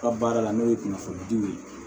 Ka baara la n'o ye kunnafoni di u ye